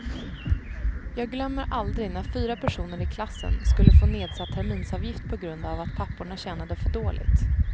Jag glömmer aldrig när fyra personer i klassen skulle få nedsatt terminsavgift på grund av att papporna tjänade för dåligt.